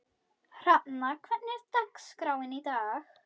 Hrafna, hvernig er dagskráin í dag?